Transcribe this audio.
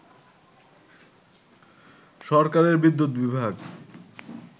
সরকারের বিদ্যুৎ বিভাগ